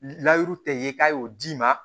Layiru tɛ ye k'a y'o d'i ma